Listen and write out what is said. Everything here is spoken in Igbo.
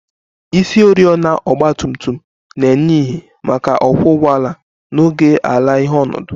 Isioriọna ọgba tum tum na-enye ìhè maka ọkwọ ụgbọala n'oge ala-ìhè ọnọdụ